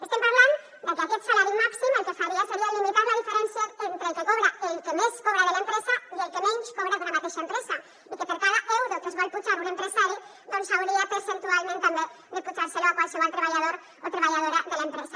estem parlant de que aquest salari màxim el que faria seria limitar la diferència entre el que més cobra de l’empresa i el que menys cobra d’una mateixa empresa i que per cada euro que es vol apujar un empresari doncs s’hauria percentualment també d’apujar lo a qualsevol treballador o treballadora de l’empresa